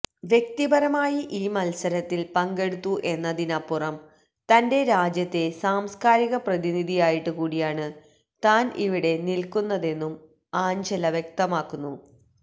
വ്യക്തിപരമായി ഈ മത്സരത്തില് പങ്കെടുത്തു എന്നതിനുമപ്പുറം തന്റെ രാജ്യത്തെ സംസ്കാരിക പ്രതിനിധിയായിട്ട് കൂടിയാണ് താന് ഇവിടെ നില്ക്കുന്നതെന്നും ആഞ്ചല വ്യക്തമാക്കുന്നു